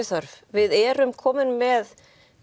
þörf við erum komin með